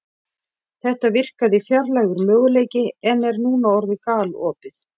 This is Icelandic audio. Þetta virkaði fjarlægur möguleiki en er núna orðið galopið.